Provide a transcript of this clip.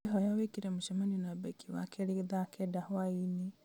ngwĩhoya wĩkĩre mũcemanio na becky wakerĩ thaa kenda hwaĩ-inĩ